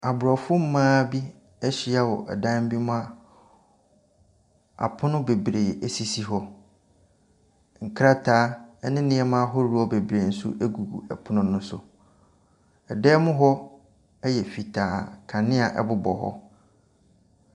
Aborɔfo mmaa bi ahyia wɔ dan bi mu a apono bebree sisi hɔ. Nkrataa ne nneɛma ahodoɔ bebree nso gu pono ne so. Dan mu hɔ fitaa, kanea bobɔ hɔ.